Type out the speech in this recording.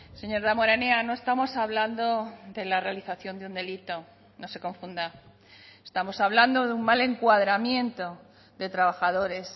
señor damborenea no estamos hablando de la realización de un delito no se confunda estamos hablando de un mal encuadramiento de trabajadores